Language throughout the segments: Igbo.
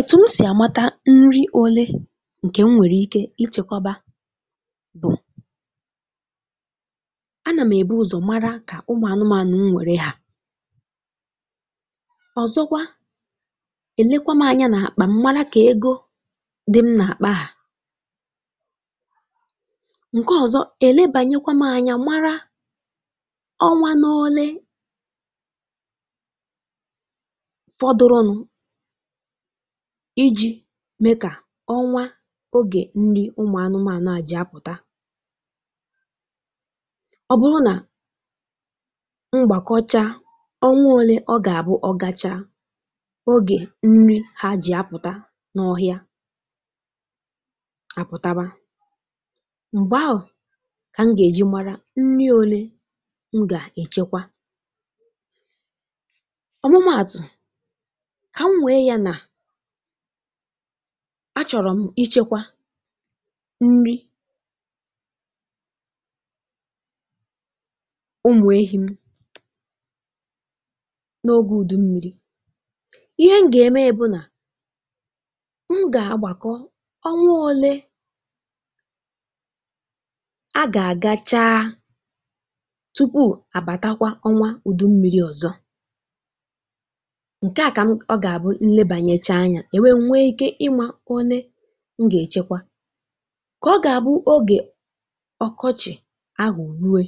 Ètù m sì àmata nri̇ òle ǹkè m nwèrè ike ichèkwọba bụ̀ a nà m̀ èbu ụ̀zọ̀ mara kà ụmụ̀ anụmȧnụ m nwere haa, ọ̀zọkwa èlekwa m anya nà-àkpà m mara kà ego dị m nà-àkpà hàa, ǹkọ ọ̀zọ èlebànyekwa m anya mara ọnwa n’òle fọdụrụ nụ̇ iji̇ mėkà ọnwa ogè nri̇ ụmụ̀ anụmànụ à ji apụ̀ta, ọ bụrụ nà m gbàkọcha ọnwa òle ọ gà-àbụ ọ gacha, ogè nri ha ji apụ̀ta n’ọhịa àpụtaba, m̀gbè ahụ̀ kà m gà-èji mara nri òle m gà-èchekwa, ọ̀mụmaatụ̀ ka m nwe ya na achọ̀rọ̀ m ichekwa nri umù ehi m n’ogė ùdù mmi̇ri̇, ihe m gà-eme bụ nà m gà-agbàkọ ọnwa ọ̀le a gà-àga cha tupu àbàtakwa ọnwa ùdù mmi̇ri̇ ọ̀zọ, nke a ka ọ gà-abụ nlebàcha acha anya, nwè nwe ike ịma onèm gà-èchekwa kà ọ gà-àbụ oge ọkọchị̀ ahụ̀ rụe,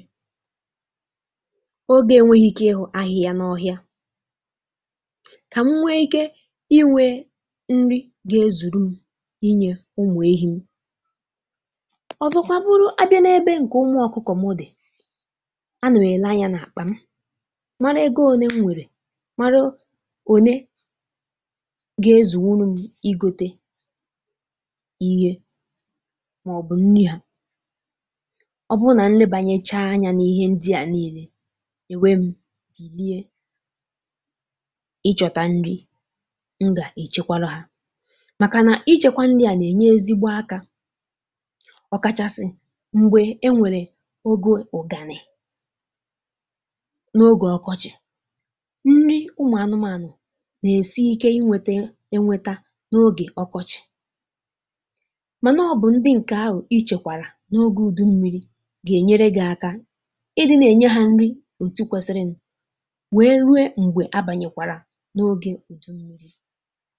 ogè enwėghị̇ ike ịhụ̇ àhụ̇ ya n’ọhịa kà m nwe ike inwė nri gà-zùru inyė ụmụ̀ ehi̇ na, ọ̀zọkwa bụrụ abịa n’ebe ụmụ̀ ọ̀kụkọ̀ m dị̀, a nà-èla anya n’àkpà m mara ego òne m nwèrè, mara onee m nwere, mara onee gà-ezùrùm igòtè ihe màọbụ̀ nri ha, ọ bụ nà nlebànyèchaa anyȧ n’ihe ndị à niilė, nwè bilie ịchọ̇tà nri̇ n gà-èchekwarụ hȧ màkà nà ijèkwȧ nri à nà-ènye ezigbo akȧ, ọ̀kàchàsị̀ m̀gbè e nwèrè ogè ugànị̀ n’ogè ọkọchị̀, nri ụmụ̀ ànụmànụ̀ na-èsi ike inweta enweta n’ogè ọkọchị̀, ọ̇ bụ̀ ndị ǹkè ahụ̀ i chèkwàrà n’ogė ùdù mmi̇ri̇ gà-ènyere gị̇ akȧ ịdị̇ na-ènye hȧ nri ọ̀tụ̀ kwesịrị nà wee rụo m̀gbè abànyekwàrà n’ogė ùdù mmi̇ri̇.